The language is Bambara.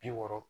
Bi wɔɔrɔ